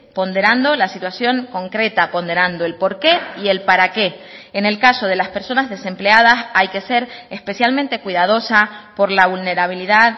ponderando la situación concreta ponderando el por qué y el para qué en el caso de las personas desempleadas hay que ser especialmente cuidadosa por la vulnerabilidad